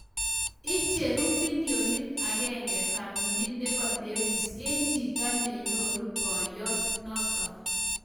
Icheru bilionit agenge family nebo lewis eng chito menyoru boyot notok